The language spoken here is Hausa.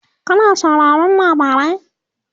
kana sauraron labarai?